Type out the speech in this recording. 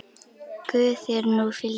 Guð þér nú fylgi.